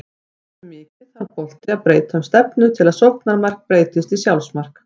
Hversu mikið þarf bolti að breyta um stefnu til þess að sóknarmark breytist í sjálfsmark?